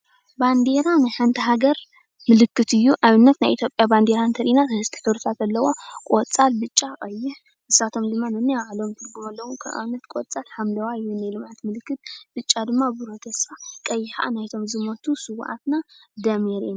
ባንዴራ ንሓንቲ ሃገር ምልክት እዩ። ንኣብነት ናይ ኢትዮጵያ ባንዴራ እንተሪኢና ሰለስተ ሕብርታት ኣለዎ። ቆፃል፣ ብጫ ፣ቀይሕ ንሳቶም ድማ ነናይ ባዕሎም ትርጉም ኣለዎም። ንኣብነት ቆፃል ሓምለዋይ ናይ ልምዓት ምልክት፣ ቡጫ ብርህ ተስፋ ፣ቀይሕ ከዓ ናይቶም ዝሞቱ ስውኣትና ደም የሪኤና።